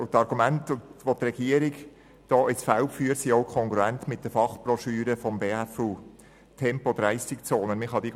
Und die Argumente, die die Regierung in dieser Sache ins Feld führt, sind auch kongruent mit der Fachbroschüre «Tempo-30-Zonen» der BFU.